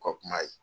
U ka kuma ye